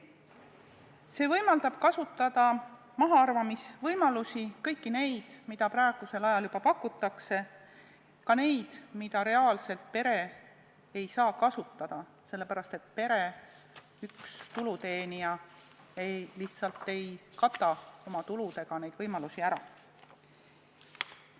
See võimaldab kasutada mahaarvamisvõimalusi, kõiki neid, mida praegusel ajal juba pakutakse, ka neid, mida reaalselt pere ei saa kasutada, sest pere üks tuluteenija lihtsalt ei kata oma tuludega neid võimalusi ära.